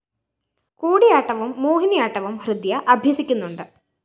കൂടിയാട്ടവും മോഹിനിയാട്ടവും ഹൃദ്യ അഭ്യസിക്കുന്നുണ്ട്